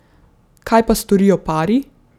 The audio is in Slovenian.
Kaj pa storijo pari?